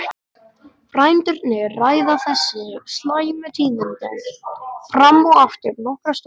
Frændurnir ræða þessi slæmu tíðindi fram og aftur nokkra stund.